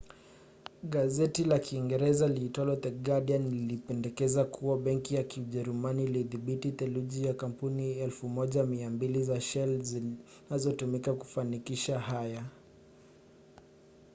gazeti la uingereza liitwalo the guardian lilipendekeza kuwa benki ya kijerumani ilidhibiti theluthi ya kampuni 1200 za shell zinazotumika kufanikisha haya